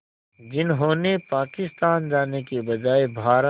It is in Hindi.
जिन्होंने पाकिस्तान जाने के बजाय भारत